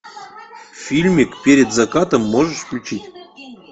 фильмик перед закатом можешь включить